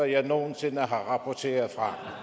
jeg nogen sinde har rapporteret fra